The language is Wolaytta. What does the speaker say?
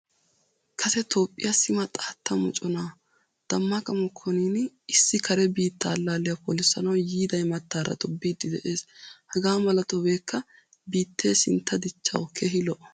Kase Toophphiya sima xaatta mocconaa Damaqqa Mokkoniin issi kare biitta allaaliya polisanawu yiida imattaara tobbidi de'ees. Hagaa mala tobbekka bittee sintta dichchawu keehii lo'o.